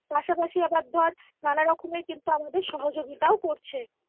পাশাপাশি আবার ধর নানা রকমের কিন্তু আমাদের সহযোগিতাও করছে